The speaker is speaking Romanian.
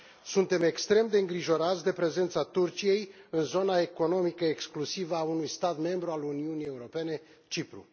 Suntem extrem de îngrijorați de prezența Turciei în zona economică exclusivă a unui stat membru al Uniunii Europene, Cipru.